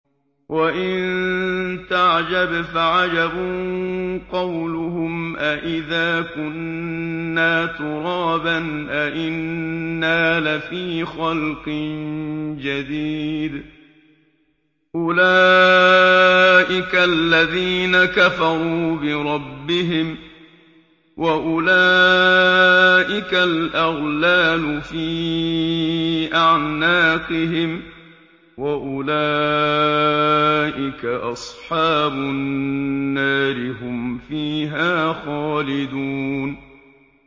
۞ وَإِن تَعْجَبْ فَعَجَبٌ قَوْلُهُمْ أَإِذَا كُنَّا تُرَابًا أَإِنَّا لَفِي خَلْقٍ جَدِيدٍ ۗ أُولَٰئِكَ الَّذِينَ كَفَرُوا بِرَبِّهِمْ ۖ وَأُولَٰئِكَ الْأَغْلَالُ فِي أَعْنَاقِهِمْ ۖ وَأُولَٰئِكَ أَصْحَابُ النَّارِ ۖ هُمْ فِيهَا خَالِدُونَ